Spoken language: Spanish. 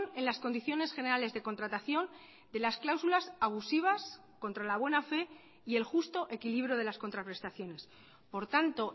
en las condiciones generales de contratación de las cláusulas abusivas contra la buena fe y el justo equilibrio de las contraprestaciones por tanto